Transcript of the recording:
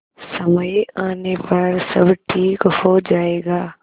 समय आने पर सब ठीक हो जाएगा